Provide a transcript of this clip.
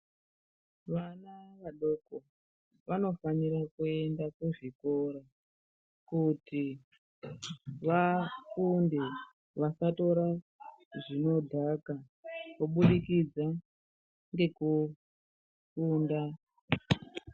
Vana vadoko vanofanire kuenda kuzvikora kuti vafunde vasatore zvinodhaka kubudikidza ngekufunda.